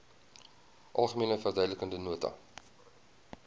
algemene verduidelikende nota